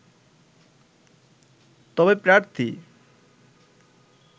তবে প্রার্থী